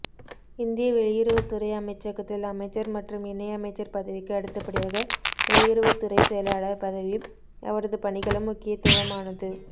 இந்திய வெளியுறவுத்துறை அமைச்சகத்தில் அமைச்சர் மற்றும் இணை அமைச்சர் பதவிக்கு அடுத்தபடியாக வெளியுறவுத்துறை செயலாளர் பதவியும் அவரது பணிகளும் முக்கியத்துவமானது